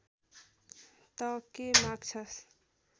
तँ के माग्छस्